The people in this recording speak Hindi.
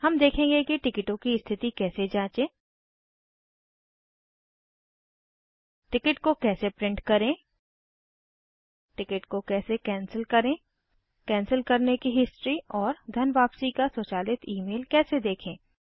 हम देखेंगे कि टिकिटों की स्थिति कैसे जाँचें टिकट को कैसे प्रिंट करें टिकट को कैसे कैंसिल करे कैंसिल करने की हिस्ट्री और धन वापसी का स्वचालित ईमेल कैसे देखें